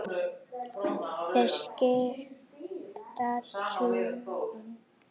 Þeir skipta tugum.